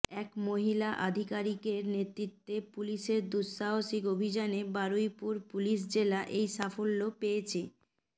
এক মহিলা আধিকারিকের নেতৃত্বে পুলিশের দুঃসাহসিক অভিযানে বারুইপুর পুলিশ জেলা এই সাফল্য পেয়েছে